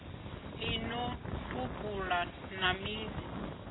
ḽi no tupula na midzi